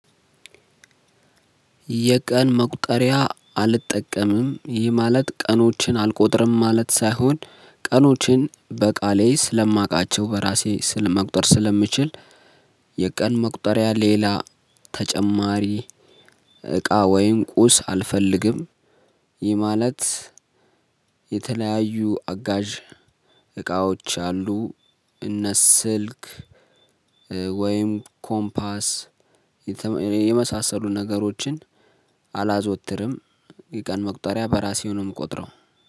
የቀን መቁጠሪያ አልጠቀምም። ይህ ማለት ቀኖችን አልቆጥርም ማለት ሳይሆን ቀኖችን በቃሌ ስለማውቃቸው በራሴ መቁጠር ስለምችል የቀን መቁጠሪያ ሌላ ተጨማሪ እቃ ወይም ቁስ አልፈልግም። ይህ ማለት የተለያዩ አጋዥ እቃዎች አሉ እነ ስልክ ወይም ኮምፖስ የመሳሰሉ ነገሮችን አላዘወትርም። የቀን መቁጠሪያ በራሴ ነው ምቆጥረው።